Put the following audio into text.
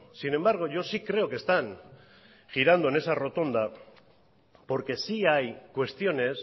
sin embargo yo sí creo que están girando en esa rotonda porque sí hay cuestiones